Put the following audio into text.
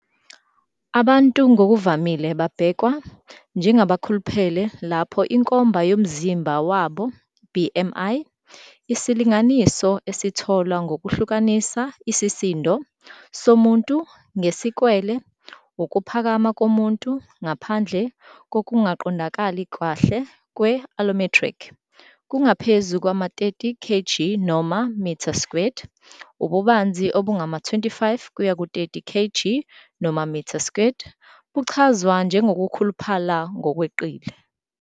Abantu ngokuvamile babhekwa njengabakhuluphele lapho inkomba yomzimba wabo, BMI, isilinganiso esitholwa ngokuhlukanisa isisindo somuntu ngesikwele ukuphakama komuntu - ngaphandle kokungaqondakali kahle kwe-allometric - kungaphezu kwama-30 kg noma m2, ububanzi obungama-25-30 kg noma m2 buchazwa njengokukhuluphala ngokweqile.